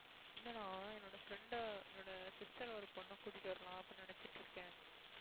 இல்லை நான் என்னோட friend என்னோட sister ஒரு பொண்ணை கூட்டிட்டு வரலாம் அப்படின்னு நினைச்சிட்டிருக்கேன்